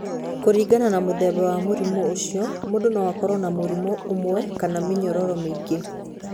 Kũringana na mũthemba wa mũrimũ ũcio, mũndũ no akorũo na mũrimũ ũmwe kana mĩnyororo mĩingĩ.